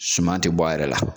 Suman te bɔ a yɛrɛ la.